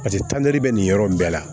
Paseke tantɛ bɛ nin yɔrɔ in bɛɛ la